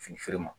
Fini feere ma